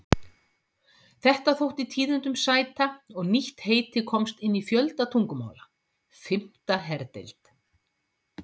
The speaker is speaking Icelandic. Þetta þótti tíðindum sæta, og nýtt heiti komst inn í fjölda tungumála: Fimmta herdeild.